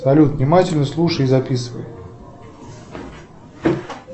салют внимательно слушай и записывай